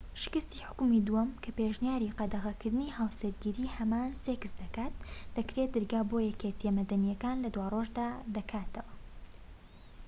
شکستی حوکمی دووەم کە پێشنیاری قەدەغەکردنی هاوسەرگیری هەمان سێکس دەکات دەکرێت دەرگا بۆ یەکێتیە مەدەنیەکان لە دوارۆژدا دەکاتەوە